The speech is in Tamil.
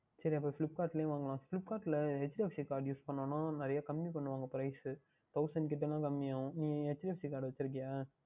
சரி அப்பொழுது Flipkart லேயே வாங்கிக்கொள்ளலாம் Flipkart யில் HDFC Card Use பண்ணினோம் என்றால் நிறைய கம்மி பண்ணுவார்கள் Thousand கிட்ட எல்லாம் கம்மி ஆகும் நீ HDFC Card வைத்து இருக்கின்றாயா